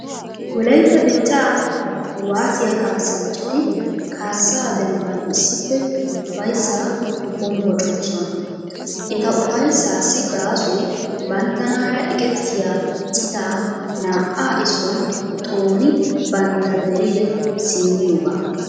Wolaytta dichchaa kuwaasiya kaassanchchati kaassaa dembban issippe ufayssaa hombboccoosona. Eta ufayssaassi gaasoy banttanaara eqettiya citaa naa"a issuwan xooni bantta dere simmiyoogaa.